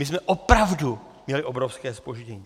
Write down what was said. My jsme opravdu měli obrovské zpoždění.